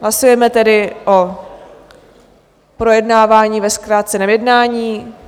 Hlasujeme tedy o projednávání ve zkráceném jednání.